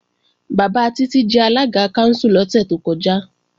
Bàbá Títí jẹ alága kánsù lọ́sẹ̀ tó kọjá